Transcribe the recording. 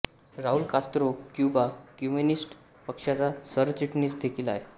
Raul Castro Cuba Communist पक्षाचा सरचिटणीस देखील आहे